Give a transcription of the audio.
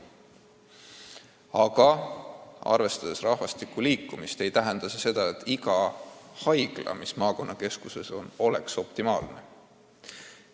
Aga inimeste liikumist arvestades ei saa öelda, et iga haigla, mis maakonna keskuses on, töötab optimaalselt.